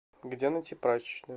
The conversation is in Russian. где найти прачечную